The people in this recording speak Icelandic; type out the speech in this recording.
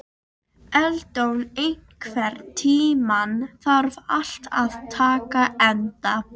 Eldon, einhvern tímann þarf allt að taka enda.